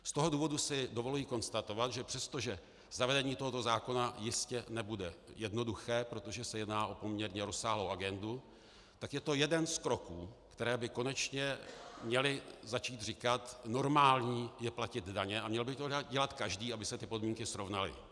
Z toho důvodu si dovoluji konstatovat, že přestože zavedení tohoto zákona jistě nebude jednoduché, protože se jedná o poměrně rozsáhlou agendu, tak je to jeden z kroků, které by konečně měly začít říkat: normální je platit daně a měl by to dělat každý, aby se ty podmínky srovnaly.